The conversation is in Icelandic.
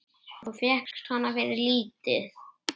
Og fékkst hana fyrir lítið!